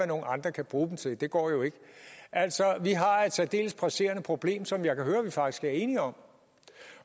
nogle andre kan bruge dem til det går jo ikke vi har et særdeles presserende problem som jeg kan høre vi faktisk er enige om